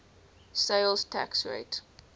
sales tax rate